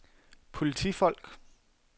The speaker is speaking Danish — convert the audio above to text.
politifolk